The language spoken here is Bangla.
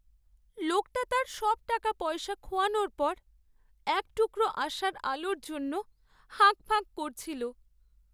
লোকটা তার সব টাকাপয়সা খোয়ানোর পর এক টুকরো আশার আলোর জন্য হাঁকপাঁক করছিল।